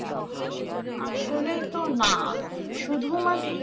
আসলে তো না শুধু মা